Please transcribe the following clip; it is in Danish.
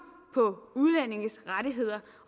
på udlændinges rettigheder